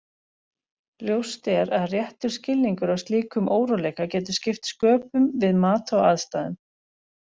Ljóst er að réttur skilningur á slíkum óróleika getur skipt sköpum við mat á aðstæðum.